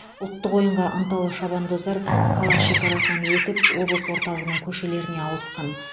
ұлттық ойынға ынталы шабандоздар қала шекарасынан өтіп облыс орталығының көшелеріне ауысқан